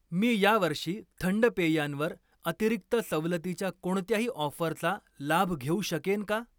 मी या वर्षी थंड पेयांवर अतिरिक्त सवलतीच्या कोणत्याही ऑफरचा लाभ घेऊ शकेन का?